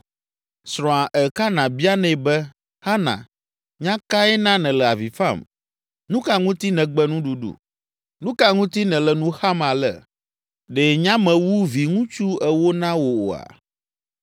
Srɔ̃a Elkana bianɛ be, “Hana, nya kae na nèle avi fam? Nu ka ŋuti nègbe nuɖuɖu? Nu ka ŋuti nèle nu xam ale? Ɖe nyamewu viŋutsu ewo na wò oa?”